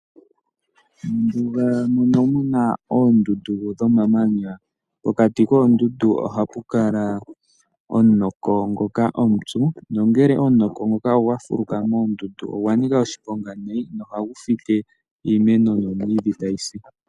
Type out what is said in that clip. Pomahala mpoka puna oondundu pokati kadho ohapu kala omunoko omupyu, nongele omunoko nguka ogwa fulukamo ogwa nika oshiponga nayi nohagu fike iimeno nomwiidhi eta yisi.